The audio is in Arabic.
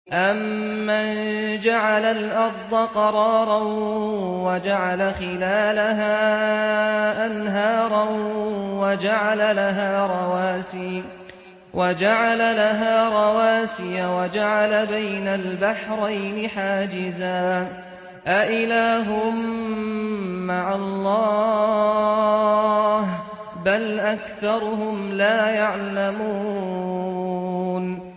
أَمَّن جَعَلَ الْأَرْضَ قَرَارًا وَجَعَلَ خِلَالَهَا أَنْهَارًا وَجَعَلَ لَهَا رَوَاسِيَ وَجَعَلَ بَيْنَ الْبَحْرَيْنِ حَاجِزًا ۗ أَإِلَٰهٌ مَّعَ اللَّهِ ۚ بَلْ أَكْثَرُهُمْ لَا يَعْلَمُونَ